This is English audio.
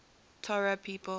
torah people